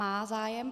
Má zájem.